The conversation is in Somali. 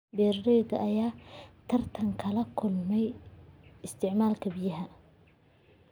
Beeralayda ayaa tartan kala kulma isticmaalka biyaha.